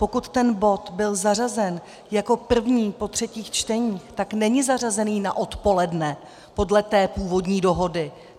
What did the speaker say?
Pokud ten bod byl zařazen jako první po třetích čteních, tak není zařazený na odpoledne, podle té původní dohody.